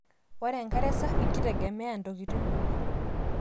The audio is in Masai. ore enkare safi kitegemeya ontokitin uni